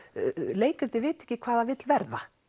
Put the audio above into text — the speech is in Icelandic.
leikritið viti ekki hvað það vill verða